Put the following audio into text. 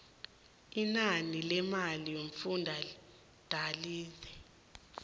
inani lemali yomfundalize